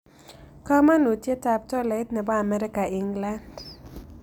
Kamanutietap tolait ne po amerika england